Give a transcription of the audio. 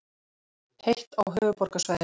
Heitt á höfuðborgarsvæðinu